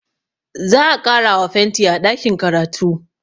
Za a ƙarawa fenti a ɗakin karatu